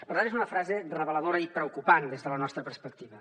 per tant és una frase reveladora i preocupant des de la nostra perspectiva